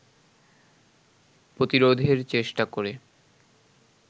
প্রতিরোধের চেষ্টা করে